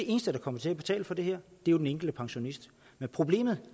eneste der kommer til at betale for det her jo den enkelte pensionist men problemet